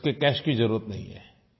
उसको कैश की ज़रूरत नहीं है